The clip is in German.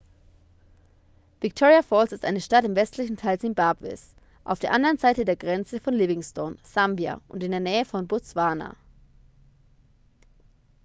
victoria falls ist eine stadt im westlichen teil simbabwes auf der anderen seite der grenze von livingstone sambia und in der nähe von botswana